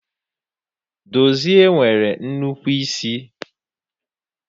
Dozie nwere nnukwu isi